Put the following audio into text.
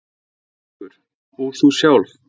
ÞÓRBERGUR: Og þú sjálf?